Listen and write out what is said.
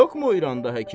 Yoxmu İranda həkim?